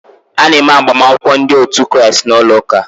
A na-eme agbamakwụkwọ ndị otu Kraịst n'ụlọ ụka.